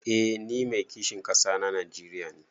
Eh ni Mai kishin kasa na Najeriya ne.